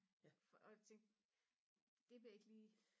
og det vil jeg ikke lige